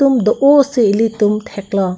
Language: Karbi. atum do o si elitum theklong.